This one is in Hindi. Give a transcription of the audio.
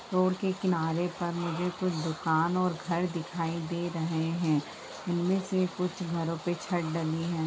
रोड के किनारे पर मुझे कुछ दुकान और घर दिखाई दे रहे है इनमे से कुछ घरों पे छत डली है।